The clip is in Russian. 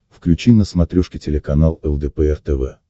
включи на смотрешке телеканал лдпр тв